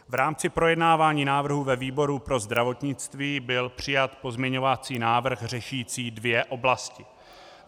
V rámci projednávání návrhu ve výboru pro zdravotnictví byl přijat pozměňovací návrh řešící dvě oblasti.